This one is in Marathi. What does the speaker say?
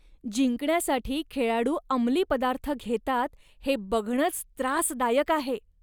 जिंकण्यासाठी खेळाडू अंमली पदार्थ घेतात हे बघणंच त्रासदायक आहे.